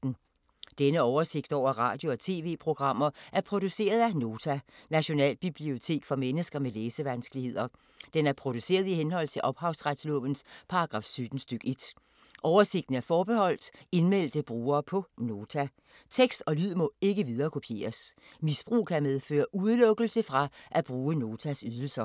Denne oversigt over radio og TV-programmer er produceret af Nota, Nationalbibliotek for mennesker med læsevanskeligheder. Den er produceret i henhold til ophavsretslovens paragraf 17 stk. 1. Oversigten er forbeholdt indmeldte brugere på Nota. Tekst og lyd må ikke viderekopieres. Misbrug kan medføre udelukkelse fra at bruge Notas ydelser.